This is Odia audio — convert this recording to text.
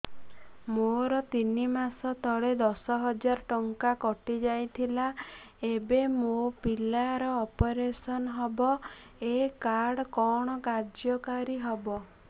ମୋର ତିନି ମାସ ତଳେ ଦଶ ହଜାର ଟଙ୍କା କଟି ଯାଇଥିଲା ଏବେ ମୋ ପିଲା ର ଅପେରସନ ହବ ଏ କାର୍ଡ କଣ କାର୍ଯ୍ୟ କାରି ହବ